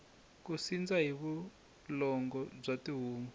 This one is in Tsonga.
ku sindza hi vulongo bya tihomu